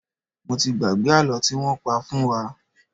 Mo ti gbàgbé àlọ́ tí wọ́n pa fún wa.